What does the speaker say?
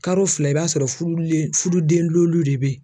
Karo fila i b'a sɔrɔ furu le furuden den lelu de be yen